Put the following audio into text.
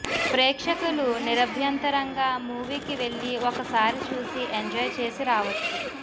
ప్రేక్షకులు నిరభ్యంతరంగా మూవీకి వెళ్లి ఒకసారి చూసి ఎంజాయ్ చేసి రావచ్చు